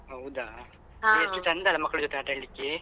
ಹೌದಾ ಎಷ್ಟು ಚಂದ ಅಲ್ಲ ಮಕ್ಳು ಜೊತೆ ಆಟ ಆಡ್ಲಿಕ್ಕೆ.